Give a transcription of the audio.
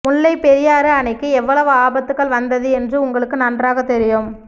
முல்லைப்பெரியாறு அணைக்கு எவ்வளவு ஆபத்துகள் வந்தது என்று உங்களுக்கு நன்றாகத் தெரியும்